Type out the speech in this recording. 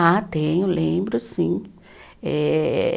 Ah, tenho, lembro, sim. Eh